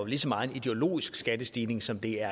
lige så meget en ideologisk skattestigning som det er